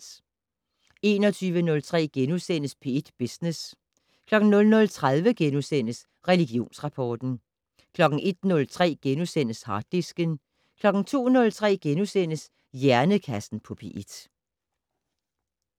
21:03: P1 Business * 00:30: Religionsrapport * 01:03: Harddisken * 02:03: Hjernekassen på P1 *